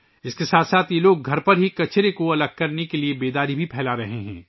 اس کے ساتھ ساتھ یہ لوگ گھروں میں ہی کچرے کو الگ کرنے کے لئے بیداری بھی پھیلا رہے ہیں